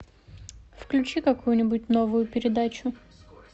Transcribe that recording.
включи какую нибудь новую передачу